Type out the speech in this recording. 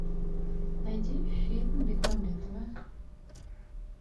найди фильм бекмамбетова